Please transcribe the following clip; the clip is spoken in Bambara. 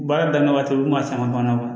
Baara daminɛ waati u kun b'a caman kɔnɔ